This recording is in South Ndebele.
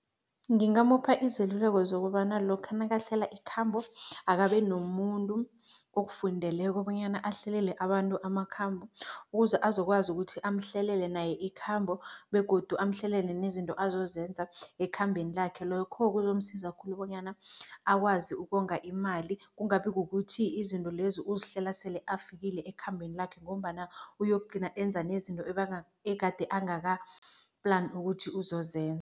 Ngingamupha izeluleko zokobana lokha nakahlela ikhambo, akabe nomuntu okufundeleko bonyana ahlelele abantu amakhambo ukuze azokwazi ukuthi amhlelele naye ikhambo begodu amhlelele nezinto azozenza ekhambeni lakhe. Lokho kuzomsiza khulu bonyana akwazi ukonga imali, kungabi kukuthi izinto lezi uzihlela sele afikile ekhambeni lakhe ngombana uyokugcina enza nezinto egade angaka-plan ukuthi uzozenza.